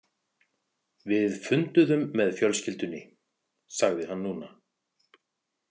Við funduðum með fjölskyldunni, sagði hann núna.